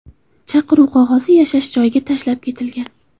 Chaqiruv qog‘ozi yashash joyiga tashlab ketilgan.